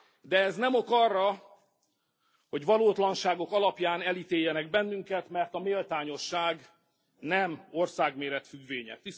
De ez nem ok arra, hogy valótlanságok alapján elítéljenek bennünket, mert a méltányosság nem országméret függvénye.